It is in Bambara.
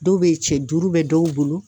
Dɔw be yen cɛ duuru bɛ dɔw bolo